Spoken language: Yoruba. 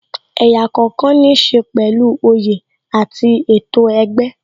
Ẹ̀yà kookan ní ṣe pẹ̀lú oyè àti ètò ẹgbẹ́